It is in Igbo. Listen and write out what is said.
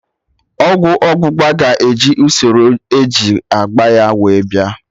Ọgwụ ọgbụgba ga-eji usoro eji agba ya wee bịa